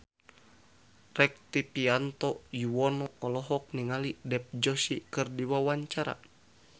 Rektivianto Yoewono olohok ningali Dev Joshi keur diwawancara